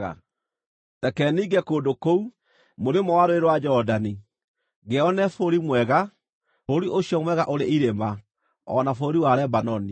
Reke ninge kũndũ kũu mũrĩmo wa Rũũĩ rwa Jorodani ngeyonere bũrũri mwega, bũrũri ũcio mwega ũrĩ irĩma o na bũrũri wa Lebanoni.”